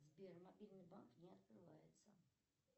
сбер мобильный банк не открывается